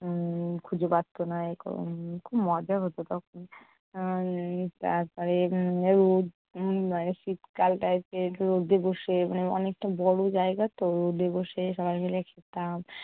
উম খুঁজে পারতো না, উম খুব মজা হতো তখন। উম তারপরে উম রোদ~ উম মানে শীতকালটায় যেয়ে রোদে বসে মানে অনেকটা বড়ো জায়গা তো রোদে বসে সবাই মিলে খেলতাম।